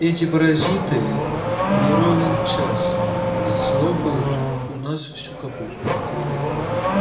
эти паразиты не ровен час слопают у нас всю капусту